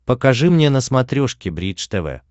покажи мне на смотрешке бридж тв